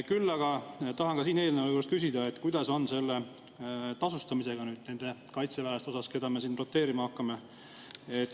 Küll aga tahan ka selle eelnõu juures küsida, kuidas on nende kaitseväelaste tasustamisega, keda me roteerima hakkame.